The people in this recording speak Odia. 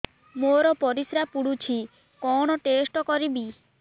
ମୋର ପରିସ୍ରା ପୋଡୁଛି କଣ ଟେଷ୍ଟ କରିବି